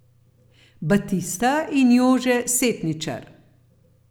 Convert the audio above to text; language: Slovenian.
Batista in Jože Setničar ...